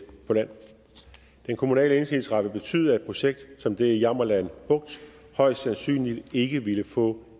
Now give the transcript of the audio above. på land den kommunale indsigelsesret vil betyde at et projekt som det i jammerland bugt højst sandsynligt ikke ville få